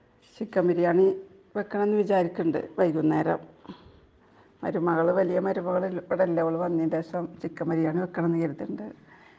Chicken biryani വെക്കണം എന്ന് വിചാരിക്കുന്നുണ്ട് ,വൈകുന്നേരം.മരുമകള് ,വലിയ മരുമകള് ഇവിടെ ഇല്ല .ഓള് വന്നതിന്റെ ശേഷം ചിക്കൻ ബിരിയാണി വെക്കണം എന്ന് വിചാരിക്കുന്നുണ്ട് .